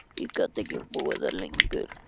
Ég gat ekki búið þar lengur.